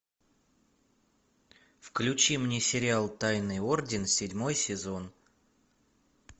включи мне сериал тайный орден седьмой сезон